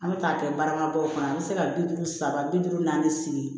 An bɛ taa kɛ baramabaw kɔnɔ an bɛ se ka bi duuru saba bi duuru naani sigi